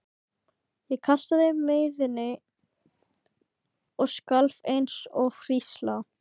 Ég kastaði mæðinni og skalf eins og hrísla.